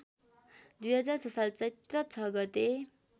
२००६ साल चैत ६ गते